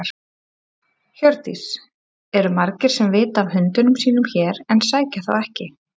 Hjördís: Eru margir sem vita af hundunum sínum hér en sækja þá ekki?